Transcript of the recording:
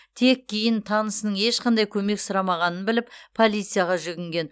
тек кейін танысының ешқандай көмек сұрамағанын біліп полицияға жүгінген